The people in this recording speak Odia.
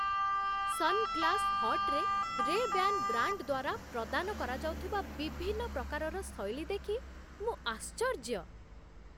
ସନ୍‌ଗ୍ଲାସ୍‌ହଟ୍‌ରେ ରେବ୍ୟାନ୍ ବ୍ରାଣ୍ଡ ଦ୍ୱାରା ପ୍ରଦାନ କରାଯାଉଥିବା ବିଭିନ୍ନ ପ୍ରକାରର ଶୈଳୀ ଦେଖି ମୁଁ ଆଶ୍ଚର୍ଯ୍ୟ।